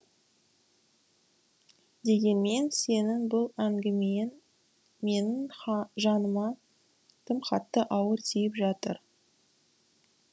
дегенмен сенің бұл әңгімең менің жаныма тым қатты ауыр тиіп жатыр